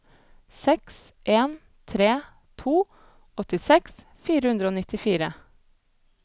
seks en tre to åttiseks fire hundre og nittifire